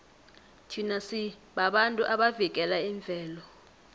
thina sibabantu abavikela imvelo